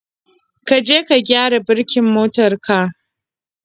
ka je ka gyara birkin motar ka.